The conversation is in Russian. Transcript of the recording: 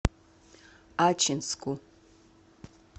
ачинску